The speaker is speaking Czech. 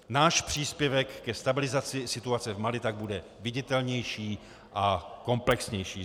Náš příspěvek ke stabilizaci situace v Mali tak bude viditelnější a komplexnější.